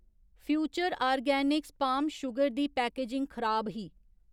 Future Organics palm sugar दी packaging खराब ही।